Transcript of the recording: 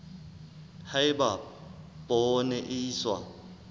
ha eba poone e iswa